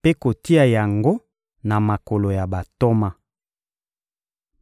mpe kotia yango na makolo ya bantoma.